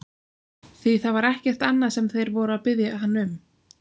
Því það var ekkert annað sem þeir voru að biðja hann um!